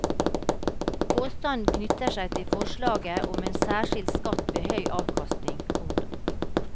Påstanden knytter seg til forslaget om en særskilt skatt ved høy avkastning. punktum